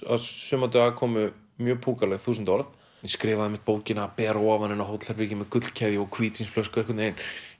suma daga kæmu mjög þúsund orð ég skrifaði einmitt bókina ber að ofan inni á hótelherbergi með gullkeðjur og hvítvínsflösku einhvern veginn